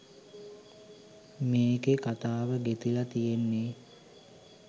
මේකෙ කතාව ගෙතිල තියෙන්නෙ